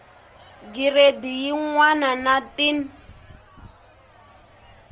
giredi yin wana na tin